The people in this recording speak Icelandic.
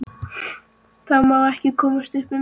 Það má ekki komast upp um mig.